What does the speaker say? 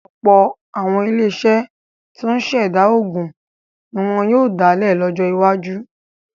Ọ̀pọ̀ àwọn iléeṣẹ́ tó ń ṣẹ̀dá oògùn ní wọ́n yóò dálẹ̀ lọ́jọ́ iwájú.